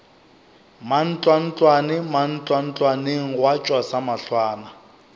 mantlwantlwane mantlwantlwaneng gwa tšwa samahlwana